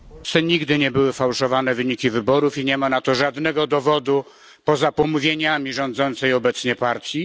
nigdy nie były sfałszowane wyniki wyborów i nie ma na to żadnego dowodu poza pomówieniami rządzącej obecnie partii.